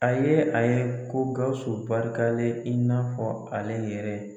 A ye a ye ko Gawusu barikalen in n'a fɔ ale yɛrɛ.